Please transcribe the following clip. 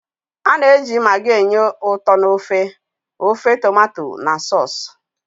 A na-eji maggi enye ụtọ n'ofe, ofe tomato na sọọsụ.